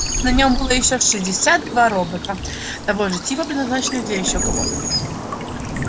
на нем было ещё шестьдесят два робота того же типа предназначенных ещё для кого-то